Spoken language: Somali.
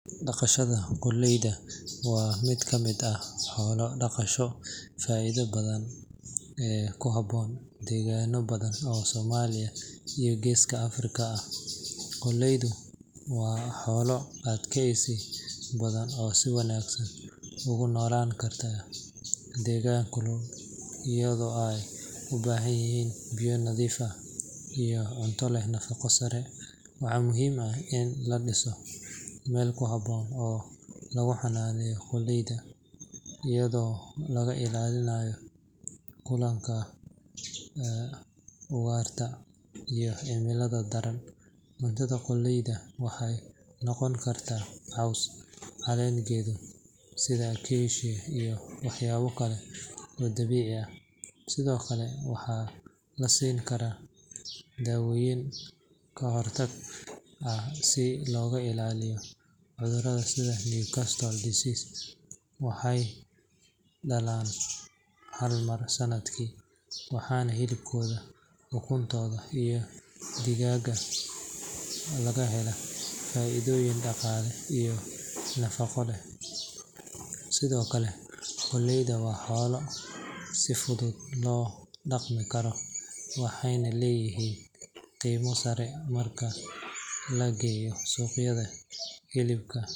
Dhaqashada qoolleyda waa mid ka mid ah xoolo dhaqashada faa’iidada badan ee ku habboon deegaanno badan oo Soomaaliya iyo Geeska Afrika ah. Qoolleydu waa xoolo adkaysi badan oo si wanaagsan ugu noolaan kara deegaan kulul, iyadoo ay u baahan yihiin biyo nadiif ah iyo cunto leh nafaqo sare. Waxaa muhiim ah in la dhiso meel ku habboon oo lagu xannaano qoolleyda, iyadoo laga ilaalinayo duulaanka ugaarta iyo cimilada daran. Cuntada qoolleyda waxay noqon kartaa caws, caleen geedo sida acacia iyo waxyaabo kale oo dabiici ah, sidoo kale waxaa la siin karaa daawooyin ka hortag ah si looga ilaaliyo cudurrada sida Newcastle disease. Waxay dhalaan hal mar sanadkii, waxaana hilibkooda, ukuntooda iyo digada laga helaa faa’iidooyin dhaqaale iyo nafaqo leh. Sidoo kale, qoolleydu waa xoolo si fudud loo dhaqmi karo, waxayna leeyihiin qiimo sare marka la geeyo suuqyada hilibka.